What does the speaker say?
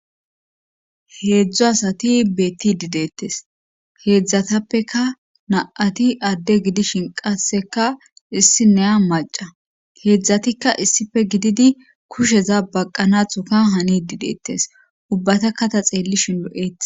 heedzdzu asati beettid deettes heedzdzatappeka na7ati adde gidishin qaseka issi neya maca heedzdzatikka issife gididi kusheza baqqanathuka hani dideettes ubbatakka ta xeellishin o7etes